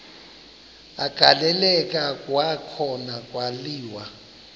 agaleleka kwakhona kwaliwa